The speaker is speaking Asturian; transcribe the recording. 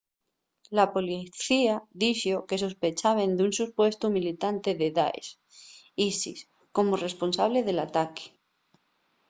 la policía dixo que sospechaben d'un supuestu militante del daesh isis como responsable del ataque